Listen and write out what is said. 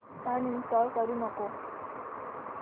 uninstall करू नको